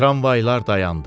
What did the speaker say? Tramvaylar dayandı.